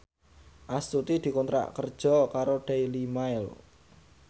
Astuti dikontrak kerja karo Daily Mail